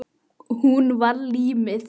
Hún var límið.